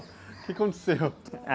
O que aconteceu?